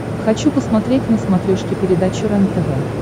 хочу посмотреть на смотрешке передачу рентв